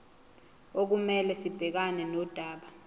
okumele sibhekane nodaba